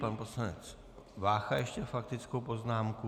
Pan poslanec Vácha ještě faktickou poznámku.